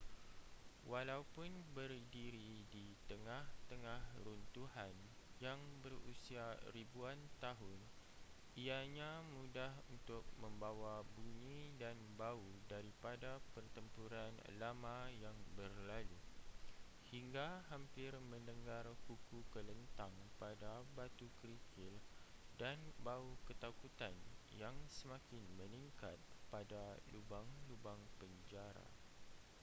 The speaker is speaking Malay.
walaupun berdiri di tengah-tengah runtuhan yang berusia ribuan tahun ianya mudah untuk membawa bunyi dan bau daripada pertempuran lama yang berlalu hingga hampir mendengar kuku kelentang pada batu kerikil dan bau ketakutan yang semakin meningkat pada lubang-lubang penjara